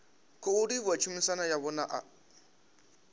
khou livhuwa tshumisano yavho na